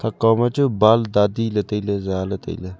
kaw machu baal tati ley tailey zaley tailey.